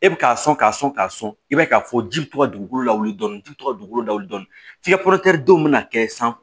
E bi k'a sɔn k'a sɔn k'a sɔn i b'a ye k'a fɔ ji bɛ to ka dugukolo lawuli dɔɔni ji bi to ka dugukolo lawuli dɔɔni f'i ka denw na kɛ san